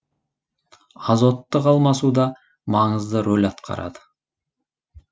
азоттық алмасуда маңызды рол атқарады